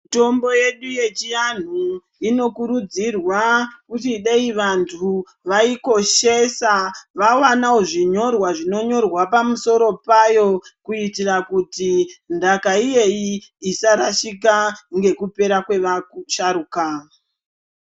Mitombo yedu yechi anhu ino kurudzirwa kuti dei vantu vayi koshesa va wanawo zvinyorwa zvino nyorwa pamusoro payo kuiitira kuti ndaka iyeyi isa rashika ngekupera kwe vasharuka.